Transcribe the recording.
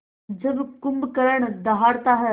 जब कुंभकर्ण दहाड़ता है